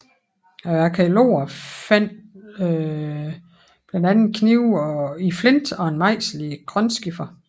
Arkæologerne fandt blandt andet knive i flint og en mejsel i grønskifer